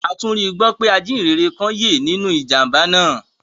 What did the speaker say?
A tún rígbọ pé ajìhínrẹ̀ kan yẹ́ nínú ìjàmbá náà